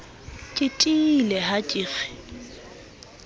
ke tiile ha ke re